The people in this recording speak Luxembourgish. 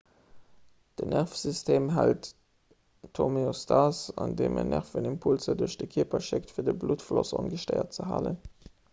den nervesystem hält d'homeostas andeem en nervenimpulser duerch de kierper schéckt fir de bluttfloss ongestéiert ze halen